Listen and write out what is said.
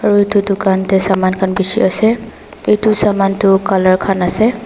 aru etu dukan te saman khan bishi ase etu saman tu colour khan ase.